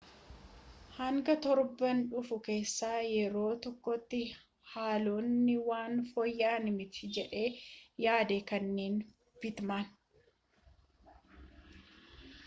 hanga torban dhufu keessaa yeroo tokkootti haalonni waan fooyya'an miti jedhee yaada kenne pitmaan